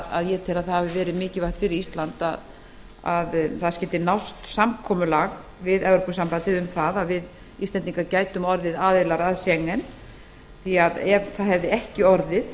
að ég tel að það hafi verið mikilvægt fyrir ísland að nást skyldi samkomulag við evrópusambandið um að íslendingar gætu orðið aðilar að schengen því að ef svo hefði ekki orðið